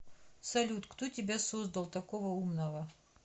салют кто тебя создал такого умного